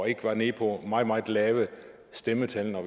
ikke er nede på meget meget lave stemmetal når